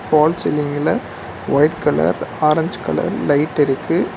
வால் சீலிங்குல white colour orange colour லைட்டிருக்கு .